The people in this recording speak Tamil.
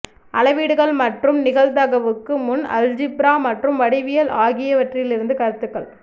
அளவீடுகள் மற்றும் நிகழ்தகவுக்கு முன் அல்ஜிப்ரா மற்றும் வடிவியல் ஆகியவற்றிலிருந்து கருத்துக்கள்